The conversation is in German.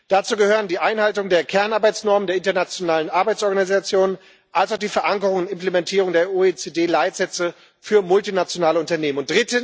Dazu gehören die Einhaltung der Kernarbeitsnormen der Internationalen Arbeitsorganisation, also die Verankerung und Implementierung der OECD Leitsätze für multinationale Unternehmen.